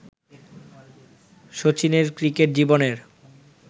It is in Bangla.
শচীনের ক্রিকেট জীবনের